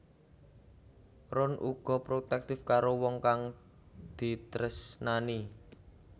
Ron uga protektif karo wong kang ditresnani